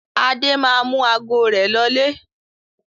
Adé máa mú ago rẹ̀ lọlé.